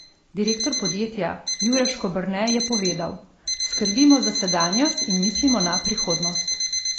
Direktor podjetja, Jure Škoberne, je povedal: "Skrbimo za sedanjost in mislimo na prihodnost.